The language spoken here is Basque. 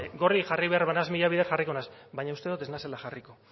gorri jarri behar banaiz mila bider jarriko naiz baina uste dut ez naizela jarriko